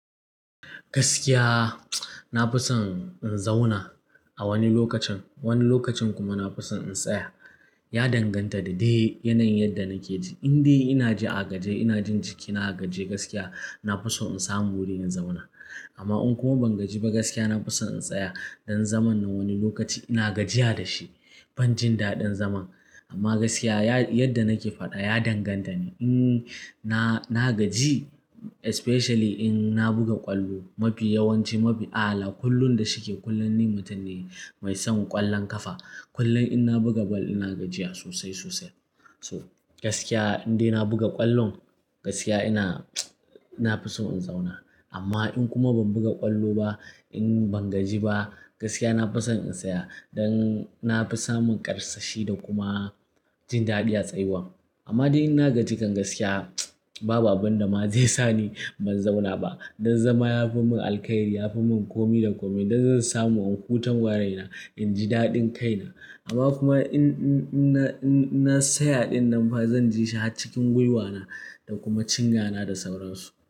Gaskiya na fi son in zauna a wani lokacin. Wani lokacin kuma na fi son in tsaya. Ya danganta da dai yanayin yadda nake ji. In dai ina ji a gajiye, ina jin jikina a gajiye gaskiya na fi so in samu wuri in zauna. Amma in kuma ban gaji ba gaskiya na fi son in tsaya don zaman na wani lokaci ina gajiya da shi. Ban jin daɗin zama amma gaskiya ya-yadda nake faɗa ya danganta ne in na, na gaji especially in na buga ƙwallo. Mafi yawanci, mafi ala kullum da shike kullum ni mutum ne mai son ƙwallon ƙafa. Kullum in na buga ball ina gajiya sosai, sosai. So gaskiya in dai na buga ƙwallon gaskiya ina, ina fi son in zauna amma in kuma ban buga ƙwallo ba, in ban gaji ba gaskiya na fi son in tsaya don na fi samun ƙarsashi da kuma jin daɗi a tsayuwa. Amma dai in na gaji kan gaskiya babu abun da ma zai sa ni ban zauna ba don zama ya fi mun alkhairi. Ya fi mun komi da komi don zan samu in huta waraina, in ji daɗin kaina. Amma kuma in, in, in na, in na tsaya ɗin nan fa zan ji shi har cikin gwiwana da kuma cinyana da sauransu.